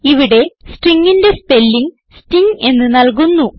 ഇവിടെ stringന്റെ spelling sting എന്ന് നല്കുന്നു